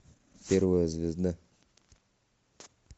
первая звезда